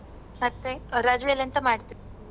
ಮತ್ತೆ ಆ ರಜೆಯಲ್ ಎಂತ ಮಾಡ್ತೀರ್ ನೀವು?